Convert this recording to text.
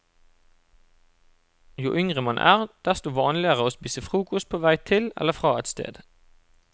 Jo yngre man er, desto vanligere å spise frokost på vei til eller fra et sted.